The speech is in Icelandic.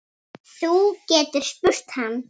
Þú getur spurt hann.